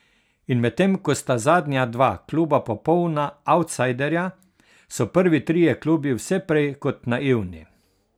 In medtem ko sta zadnja dva kluba popolna avtsajderja, so prvi trije klubi vse prej kot naivni.